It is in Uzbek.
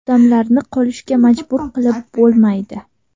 Odamlarni qolishga majbur qilib bo‘lmaydi.